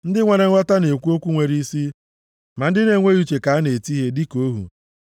Ndị nwere nghọta na-ekwu okwu nwere isi, ma ndị na-enweghị uche ka a na-eti ihe dịka ohu.